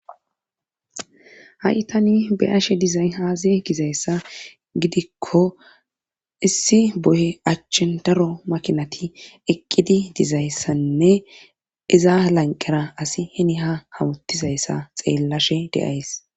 Ha7i tani be ashe dizay haaze gizayssa gidikko issi boye achchen daro makinati eqqidi dizayssanne iza lanqera asi heni ha hawutizayssa xeellashe de'ays.